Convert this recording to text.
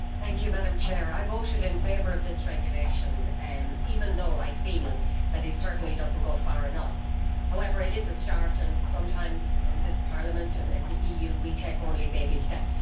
Madam President, I voted in favour of this regulation, even though I feel that it certainly does not go far enough. However, it is a start, and sometimes in this Parliament and in the EU, we take only baby steps.